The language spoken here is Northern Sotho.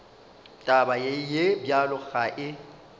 taba ye bjalo ga e